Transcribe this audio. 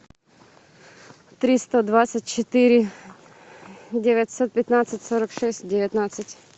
триста двадцать четыре девятьсот пятнадцать сорок шесть девятнадцать